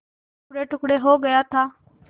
टुकड़ेटुकड़े हो गया था